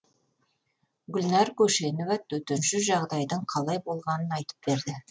гүлнар көшенова төтенше жағдайдың қалай болғанын айтып берді